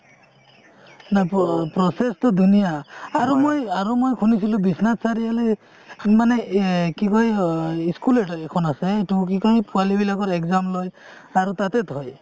নাই process তো ধুনীয়া আৰু মই আৰু মই শুনিছিলো বিশ্বনাথ চাৰিআলি মানে এই কি কয় আ school এখন আছে ইটো কি কয় পোৱালি বিলাকৰ exam লই আৰু তাতে থই।